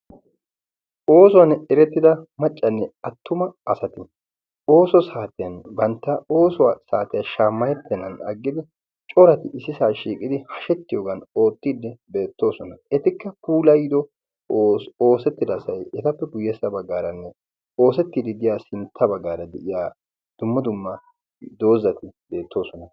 oosuwaann erettida maccanne attuma asati ooso saatiyan bantta oosuwaa saatiyaa shaammayeppennan aggidi corati issisaa shiiqidi hashettiyoogan oottiinni beettoosona etikka pulayido oosettidasai etappe guyyessa baggaaranne oosettiidi diya sintta baggaara de7iya dumma dumma doozzati deettoosona